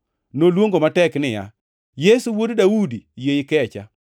Noluongo matek niya, “Yesu, Wuod Daudi, yie ikecha!”